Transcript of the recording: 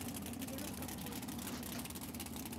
девушка в поезде покажи